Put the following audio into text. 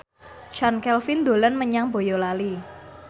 Chand Kelvin dolan menyang Boyolali